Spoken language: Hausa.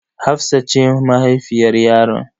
Hafsat ce mahaifiyar yaron.